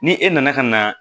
Ni e nana ka na